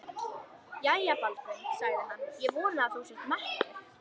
Jæja, Baldvin, sagði hann,-ég vona að þú sért mettur.